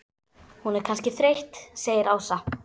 Hún er kannski þreytt segir Ása.